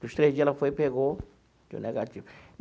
Dos três dias, ela foi e pegou deu negativo.